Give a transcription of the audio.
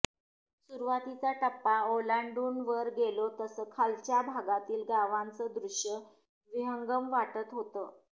सुरुवातीचा टप्पा ओलांडून वर गेलो तसं खालच्या भागातील गावाचं दृश्य विहंगम वाटत होतं